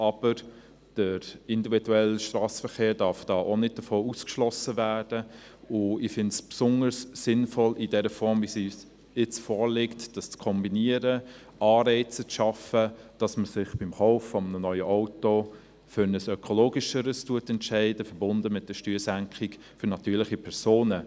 Aber der individuelle Strassenverkehr darf davon auch nicht ausgeschlossen werden, und ich finde es besonders sinnvoll, dies in der Form, wie sie uns jetzt vorliegt, zu kombinieren, Anreize zu schaffen, damit man sich beim Kauf eines neuen Autos für ein ökologischeres entscheidet, verbunden mit der Steuersenkung für natürliche Personen.